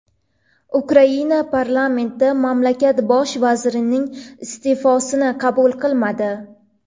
Ukraina parlamenti mamlakat bosh vazirining iste’fosini qabul qilmadi.